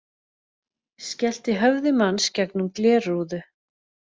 Skellti höfði manns gegnum glerrúðu